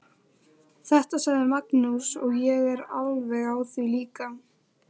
Þetta sagði Magnús og ég er alveg á því líka.